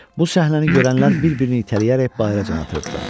Bu səhnəni görənlər bir-birini itələyərək bayıra can atırdılar.